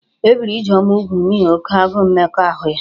E biri Ijeoma úgwù n'ihi oke agụụ mmekọahụ ya